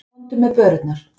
Komdu með börurnar.